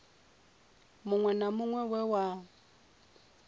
muṅwe na muṅwe we wa